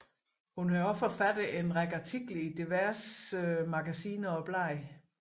Hun har også forfattet en række artikler i diverse magasiner og blade